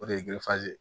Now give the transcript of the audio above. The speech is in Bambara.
O de ye